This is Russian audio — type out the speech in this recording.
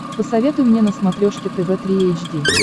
посоветуй мне на смотрешке тв три эйч ди